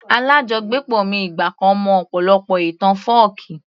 Alájọgbépọ̀ mi ìgbà kan mọ ọ̀pọ̀lọpọ̀ ìtàn fọ́ọ̀kí